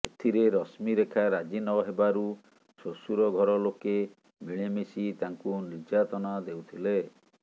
ଏଥିରେ ରଶ୍ମିରେଖା ରାଜି ନ ହେବାରୁ ଶ୍ୱଶୁର ଘରଲୋକେ ମିଳିମିଶି ତାଙ୍କୁ ନିର୍ଯାତନା ଦେଉଥିଲେ